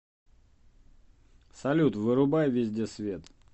салют вырубай везде свет